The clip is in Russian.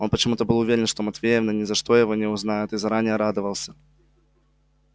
он почему то был уверен что матвеевна ни за что его не узнает и заранее радовался